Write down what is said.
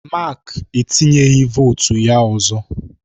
Mark etinyeghị votu ya ọzọ.